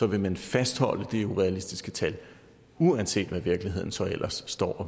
vil man fastholde det urealistiske tal uanset hvad virkeligheden så ellers